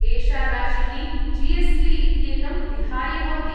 एषा राशिः जी.एस्.टी. इत्येतं विहाय भवति।